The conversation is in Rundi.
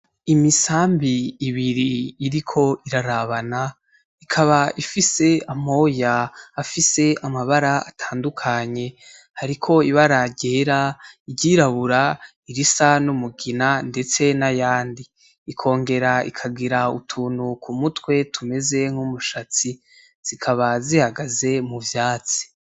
Imisambi i biri iriko irarabana ikaba ifise amoyaafise amabara atandukanye ,hariko ibara ryera iryirabura irisa n'umugina ndetse nayandi. Ikongera ikagira utuintu ku mutwe tumeze nk'umushatsi , zikaba zihagaze mu vyatsi.